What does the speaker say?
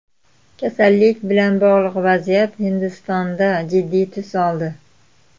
Kasallik bilan bog‘liq vaziyat Hindistonda jiddiy tus oldi.